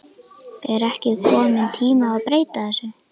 Er ekki kominn tími að breyta þessu?